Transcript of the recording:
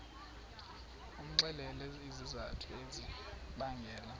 umxelele izizathu ezibangela